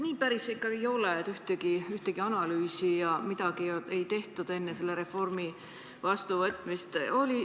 Nii päris ikka ei ole, et ühtegi analüüsi ei tehtud enne selle reformi heaks kiitmist.